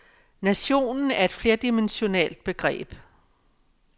Nationen er et flerdimensionalt begreb.